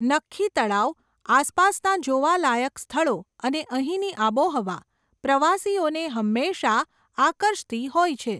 નખ્ખી તળાવ, આસપાસના જોવા લાયક સ્થળો, અને અહીંની આબોહવા, પ્રવાસીઓને હંમેશા આકર્ષતી હોય છે.